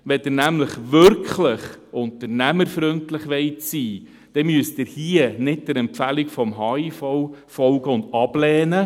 Wenn Sie wirklich unternehmerfreundlich sein wollen, müssen Sie hier nicht der Empfehlung des HIV folgen und ablehnen.